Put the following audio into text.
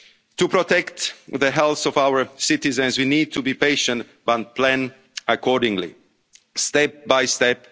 walks of life. To protect the health of our citizens, we need to be patient and plan accordingly,